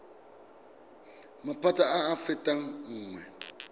maphata a a fetang nngwe